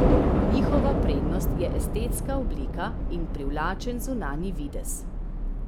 Njihova prednost je estetska oblika in privlačen zunanji videz.